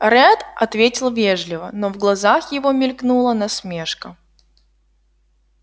ретт ответил вежливо но в глазах его мелькнула насмешка